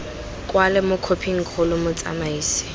kwalwe mo khophing kgolo motsamaisi